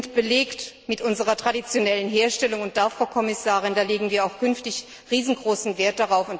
Sie sind belegt mit unserer traditionellen Herstellung, und darauf, Frau Kommissarin, legen wir auch künftig riesengroßen Wert!